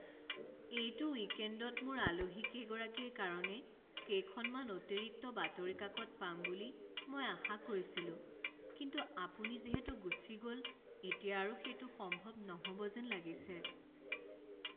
এইটো উইকেণ্ডত মোৰ আলহীকেইগৰাকীৰ কাৰণে কেইখনমান অতিৰিক্ত বাতৰি কাকত পাম বুলি মই আশা কৰিছিলোঁ কিন্তু আপুনি যিহেতু গুচি গ'ল এতিয়া আৰু সেইটো সম্ভৱ নহ'ব যেন লাগিছে।